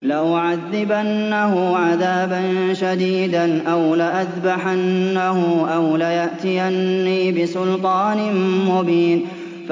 لَأُعَذِّبَنَّهُ عَذَابًا شَدِيدًا أَوْ لَأَذْبَحَنَّهُ أَوْ لَيَأْتِيَنِّي بِسُلْطَانٍ مُّبِينٍ